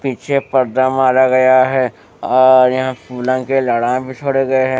पीछे पर्दा मारा गया है और यहां फूलों के लड़ा भी छोड़े गए है।